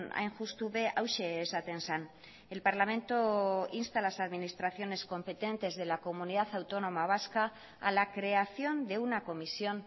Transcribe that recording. hain justu be hauxe esaten zen el parlamento insta a las administraciones competentes de la comunidad autónoma vasca a la creación de una comisión